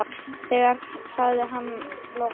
sagði hann að lokum.